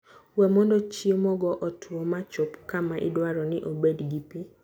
We mondo chiemogo otwo ma chop kama idwaro ni obed gi pi.